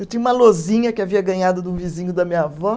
Eu tinha uma lousinha que havia ganhado de um vizinho da minha avó.